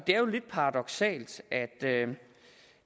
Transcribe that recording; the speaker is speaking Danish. det er jo lidt paradoksalt at